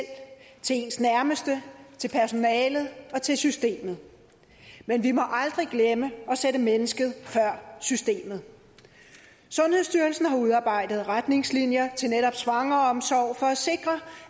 til ens nærmeste til personalet og til systemet men vi må aldrig glemme at sætte mennesket før systemet sundhedsstyrelsen har udarbejdet retningslinjer til netop svangreomsorg for at sikre